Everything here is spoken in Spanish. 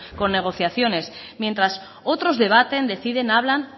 con negociaciones mientras otros debaten deciden hablan